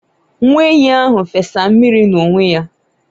nwa enyí ahụ fesa mmiri n’onwe ya